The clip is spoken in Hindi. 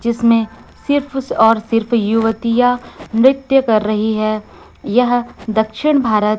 जिसमें सिर्फ और सिर्फ युवतियां नृत्य कर रही हैं यह दक्षिण भारत--